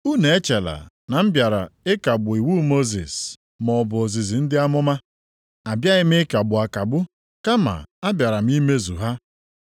“Unu echela na m bịara ịkagbu iwu Mosis, maọbụ ozizi ndị amụma. Abịaghị m ịkagbu akagbu, kama abịara m imezu ha.